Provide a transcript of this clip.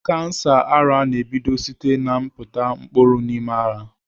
Kansa ara na-ebido site n'ịpịta mkpụrụ n'ime ara.